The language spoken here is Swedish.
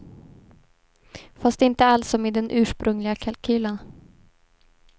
Fast inte alls som i den ursprungliga kalkylen.